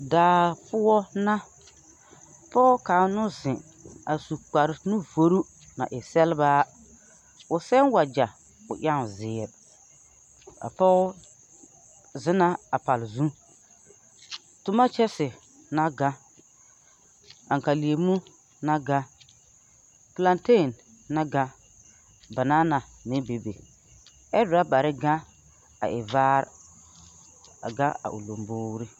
Daa poɔ na pɔɔ kaŋ no zeŋ a su kpare nuvorru na e sɛlebaa o sɛn wagyɛ o ɛŋ zeere a pɔg ze na a pall zū tomɔ kyɛse na gãn angkalemu na gãn plateen na gãn banana meŋ bebe ɛ rɔbarre gɛŋ a e vaare a ga a o lomboore.